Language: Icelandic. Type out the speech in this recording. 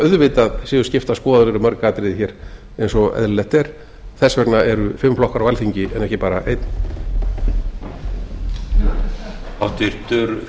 auðvitað séu skiptar skoðanir um mörg atriði hér eins og eðlilegt er þess vegna eru fimm flokkar á alþingi en ekki bara einn